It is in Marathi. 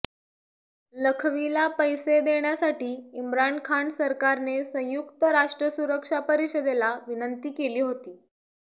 लखवीला पैसे देण्यासाठी इम्रान खान सरकारने संयुक्त राष्ट्र सुरक्षा परिषदेला विनंती केली होती